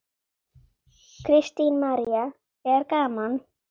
Kristín María: Er gaman?